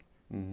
Uhum.